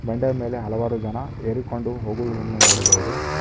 ಬಂಡೆಯ ಮೇಲೆ ಹಲವು ಜನ ಹೀರಿಕೊಂಡು ಹೋಗುವುದನ್ನು ನೋಡಬಹುದು.